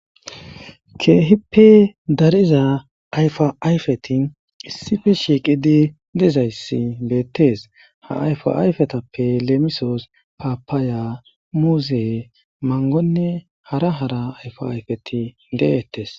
Kehippe dariza ayifa ayiffeti issippe shiqqidi dizzayisi bettes ha ayifa ayiffetappe lemissos papaya muzze manggoyinne hara hara ayiffa ayiffeti de'eyes.